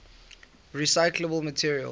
recyclable materials